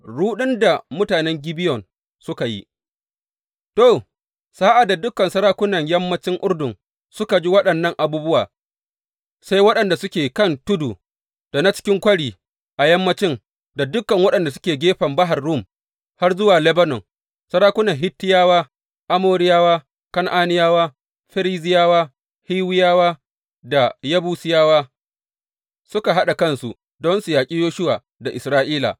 Ruɗun da mutanen Gibeyon suka yi To, sa’ad da dukan sarakunan yammancin Urdun suka ji waɗannan abubuwa, sai waɗanda suke kan tudu, da na cikin kwari a yammanci, da dukan waɗanda suke gefen Bahar Rum har zuwa Lebanon sarakunan Hittiyawa, Amoriyawa, Kan’aniyawa, Ferizziyawa, Hiwiyawa da Yebusiyawa suka haɗa kansu don su yaƙi Yoshuwa da Isra’ila.